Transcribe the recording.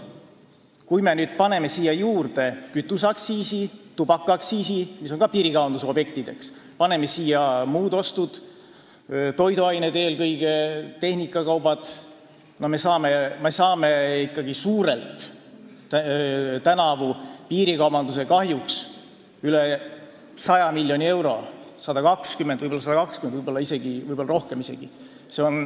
Kui me paneme siia juurde muu aktsiisi – kütus ja tubakas on ka piirikaubanduse objektid – ja muud ostud – eelkõige toiduained, aga ka tehnikakaubad –, siis me saame tänavu piirikaubanduse kahjuks ikkagi suurelt üle 100 miljoni euro, võib-olla 120 miljonit eurot, võib-olla isegi rohkem.